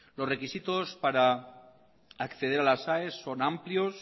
los requisitos para acceder a las aes son amplios